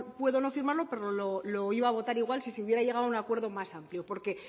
puedo no firmarlo pero lo iba a votar igual si se hubiera llegado a un acuerdo más amplio porque